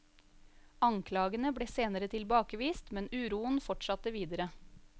Anklagene ble senere tilbakevist, men uroen fortsatte videre.